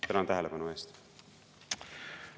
Tänan tähelepanu eest!